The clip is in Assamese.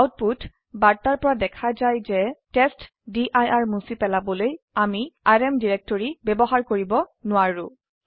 আউটপুট বাৰ্তাৰ পৰা দেখা যাই যে টেষ্টডিৰ মুছি পেলাবলৈ আমিrm ডিৰিক্টৰি ব্যবহাৰ কৰিব নোৱাৰো